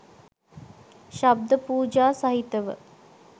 ශබ්ද පූජා සහිතව